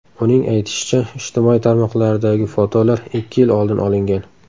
Uning aytishicha, ijtimoiy tarmoqlardagi fotolar ikki yil oldin olingan.